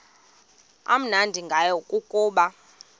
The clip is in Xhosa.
amnandi ngayo kukuba